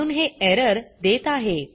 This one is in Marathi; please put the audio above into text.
महणून हे एरर देत आहे